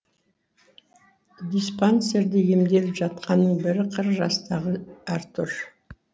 диспансерде емделіп жатқанның бірі қырық жастағы артур